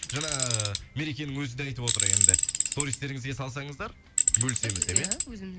жаңа мерекенің өзі де айтып отыр енді сторизтеріңізге салсаңыздар бөлісеміз деп иә иә